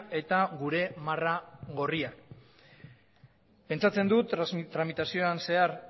eta gure marra gorria pentsatzen dut tramitazioan zehar